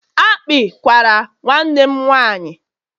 akpị kwara nwanne m nwaanyị